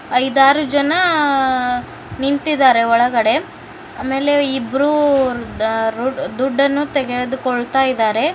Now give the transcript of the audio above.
ಐದಾರು ಜನ ನಿಂತಿದ್ದಾರೆ ಒಳಗಡೆ ಆಮೇಲೆ ಇಬ್ರು ದುಡ್ಡನ್ನು ತೆಗೆದುಕೊಳ್ಳುತ್ತಿದ್ದಾರೆ.